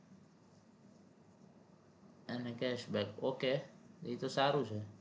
અને cashback okay ઈ તો સારું છે